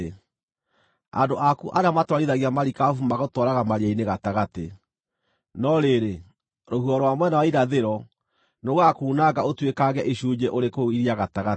Andũ aku arĩa matwarithagia marikabu magũtwaraga maria-inĩ gatagatĩ. No rĩrĩ, rũhuho rwa mwena wa irathĩro nĩrũgakuunanga ũtuĩkange icunjĩ ũrĩ kũu iria gatagatĩ.